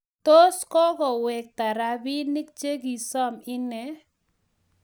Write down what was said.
tos kokowekta rabinik che kisom ine